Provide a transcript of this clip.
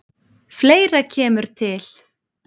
Fleira kemur til.